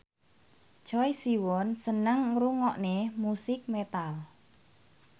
Choi Siwon seneng ngrungokne musik metal